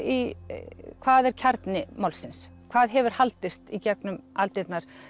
í hvað er kjarni málsins hvað hefur haldist í gegnum aldirnar